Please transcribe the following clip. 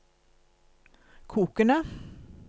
kokende